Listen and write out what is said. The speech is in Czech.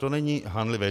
To není hanlivé.